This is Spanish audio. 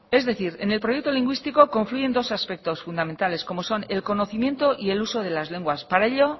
es decir en el proyecto lingüístico confluyen dos aspectos fundamentales como son el conocimiento y el uso de las lenguas para ello